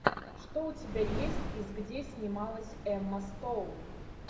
что у тебя есть из где снималась эмма стоун